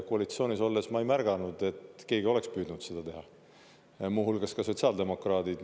Koalitsioonis olles ma ei ole märganud, et keegi oleks püüdnud seda teha, muu hulgas sotsiaaldemokraadid.